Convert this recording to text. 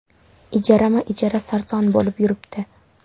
Ijarama-ijara sarson bo‘lib yuribdi.